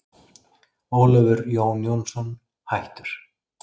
Ólafur Jón Jónsson, hættur